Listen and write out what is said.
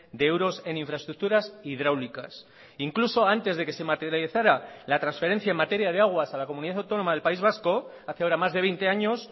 de euros en infraestructuras hidráulicas incluso antes de que se materializara la transferencia en materia de aguas a la comunidad autónoma del país vasco hace ahora más de veinte años